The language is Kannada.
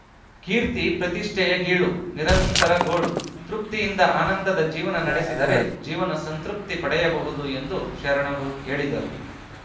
ಕೀರ್ತಿ ಪ್ರತಿಷ್ಠೆಯ ಗೀಳು ನಿರಂತರ ಗೋಳು ತೃಪ್ತಿಯಿಂದ ಆನಂದದ ಜೀವನ ನಡೆಸಿದರೆ ಜೀವನ ಸಂತೃಪ್ತಿ ಪಡೆಯಬಹುದು ಎಂದು ಶರಣರು ಹೇಳಿದರು